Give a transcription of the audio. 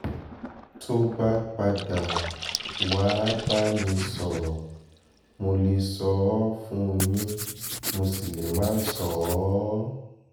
tó bá padà um wàá bá mi sọ̀rọ̀ mo lè sọ ọ́ fún yín mo sì lè má sọ um ọ́